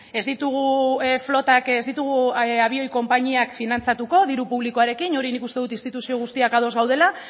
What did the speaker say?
ez ditugu flotak ez ditugu abioi konpainiak finantzatuko diru publikoarekin hori nik uste dut instituzio guztiak ados gaudela